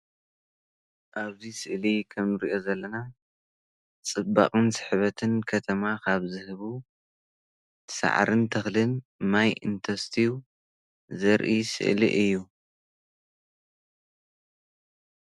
ኣብዚ ስእሊ ከምእንሪኦ ዘለና ፅባቐን ስሕበትን ከተማ ካብ ዝህቡ ሳዕርን ተኽልን ማይ እንተስትዩ ዘርኢ ስእሊ እዩ፡፡